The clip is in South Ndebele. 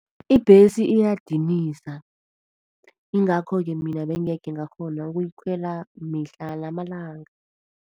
Ibhesi iyadinisa, ingakho-ke mina bengekhe ngakghona ukuyikhwela mihla namalanga.